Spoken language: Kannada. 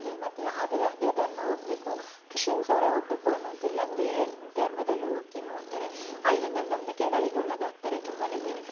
ಮತ್ತೆ ಯಾವುದೇ ಅದೇ ಧರ್ಮ ಒಗ್ಬೇಕು ಕ್ರಿಶಿಯನ್ಸ್‌ ಅವರೇ ಹೋಗಬೇಕುಂತಾ ಇಲ್ಲಾ ಬೇರೆ ಧರ್ಮದಲ್ಲೂ ಓಗಿ ನೋಡ್ತಾರೆ ಅಲ್ಲಿನ ನಂಬಿಕೆಗಳಿಗೆ ಒಳಗಾಗ್ತಾರೆ ತುಂಬಾನೇ ಬೆನಿಫಿಟ್ಸ್‌ --